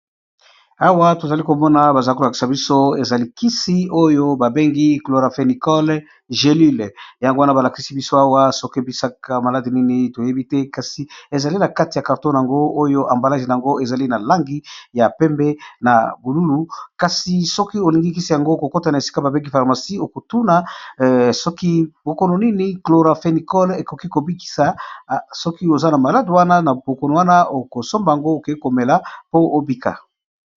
awa tozali komona baza kolakisa biso eza likisi oyo babengi cloraphenicale gelule yangowana balakisi biso awa soki ebisaka maladi nini toyebi te kasi ezali na kati ya karton yango oyo ambalage a yango ezali na langi ya pembe na bululu kasi soki olingilikisi yango kokotana esika babengi pharmacie okotuna soki bokono nini cloraphenicale ekoki kobikisa soki oza na malade wana na bokono wana okosomba yango oke komela po obika